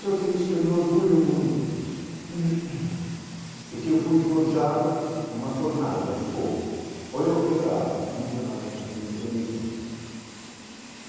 Só que isso me orgulho muito disso, porque eu fui forjado uma fornalha de fogo, ou eu quebrava, ou me tornava gente, me tornei gente.